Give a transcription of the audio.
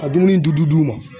Ka dumuni dudu d'u ma.